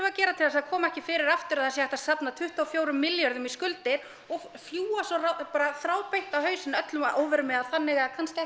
að gera til að það komi ekki fyrir aftur að það sé hægt að safna tuttugu og fjórum milljörðum í skuldir og fljúga svo bara þráðbeint á hausinn öllum að óvörum eða þannig eða kannski